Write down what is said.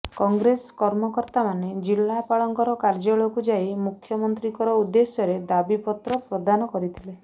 କଂଗ୍ରେସ କର୍ମକର୍ତ୍ତାମାନେ ଜିଲାପାଳଙ୍କର କାର୍ଯ୍ୟାଳୟକୁ ଯାଇ ମୁଖ୍ୟନ୍ତ୍ରୀଙ୍କର ଉଦ୍ଦେଶ୍ୟରେ ଦାବି ପତ୍ର ପ୍ରଦାନ କରିଥିଲେ